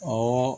Ɔ